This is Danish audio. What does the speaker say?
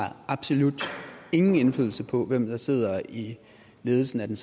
har absolut ingen indflydelse på hvem der sidder i ledelsen af den